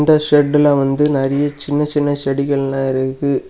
இந்த செட்ல வந்து நிறைய சின்ன சின்ன செடிகள்ளா இருக்கு.